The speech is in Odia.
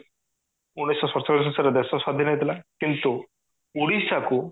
ଉଣେଇଶି ଶହ ସତଚାଳିଶି ମସିହା ରେ ଦେଶ ସ୍ଵାଧୀନ ହେଇଥିଲା କିନ୍ତୁ ଓଡିଶା କୁ